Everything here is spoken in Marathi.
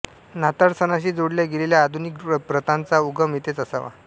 नाताळ सणाशी जोडल्या गेलेल्या आधुनिक प्रथांचा उगम येथेच असावा